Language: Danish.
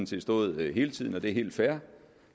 set stået hele tiden og det er helt fair